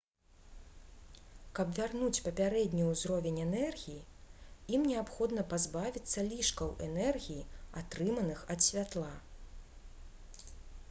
каб вярнуць папярэдні ўзровень энергіі ім неабходна пазбавіцца лішкаў энергіі атрыманых ад святла